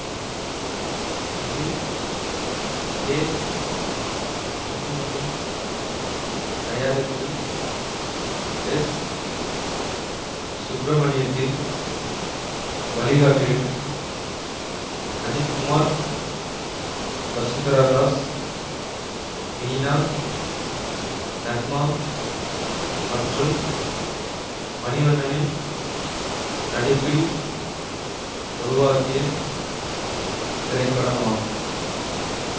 இது கே குஞ்சுமோனின் தயாரிப்பிலும் எஸ் சுப்பிரமணியத்தின் வழிகாட்டிலும் அஜித் குமார் வசுந்தரா தாஸ் மீனா நக்மா மற்றும் மணிவண்ணனின் நடிப்பில் உருவாகிய திரைப்படமாகும்